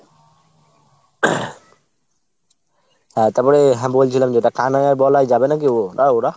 হ্যাঁ তারপরে হ্যাঁ বলছিলাম যেটা কানাই আর বলাই যাবে নাকি ও ওরা ?